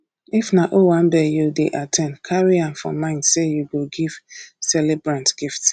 if na owambe you dey at ten d carry am for mind sey you go give celebrant gift